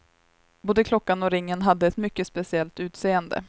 Både klockan och ringen hade ett mycket speciellt utseende.